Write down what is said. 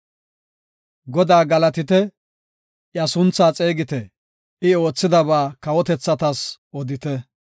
Godaa galatite; iya suntha xeegite; I oothidaba kawotethatas odite.